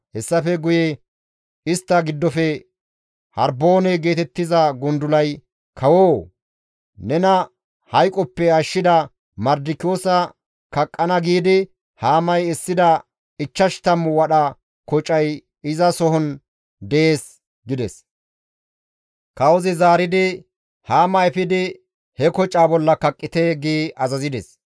Hessafe guye istta giddofe Harboone geetettiza gundulay, «Kawoo! Nena hayqoppe ashshida Mardikiyoosa kaqqana giidi Haamay essida ichchash tammu wadha kocay izason dees» gides. Kawozi zaaridi, «Haama efidi he kocaa bolla kaqqite!» gi azazides.